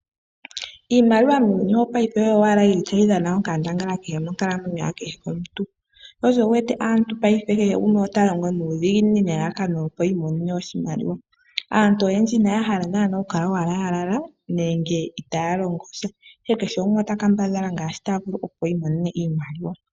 Iimaliwa muuyuni wopaife oyo owala yili ta yi dhana onkandangala monkalamwenyo ya kehe omuntu. Sho osho wu wete paife kehe gumwe ota longo nuudhiginini opo imonene oshimaliwa. Aantu oyendji Ina ya hala owala oku kala ya lala nenge Ira ya longo sja, ihe kehe gumwe ota kambadhala nfaa shi ya vulu opo inonene oshimaliwa.